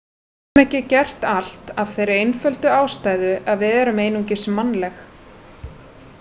Við getum ekki gert allt af þeirri einföldu ástæðu að við erum einungis mannleg.